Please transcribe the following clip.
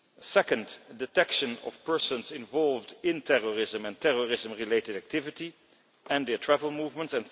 second, detection of persons involved in terrorism and terrorism related activity and their travel movements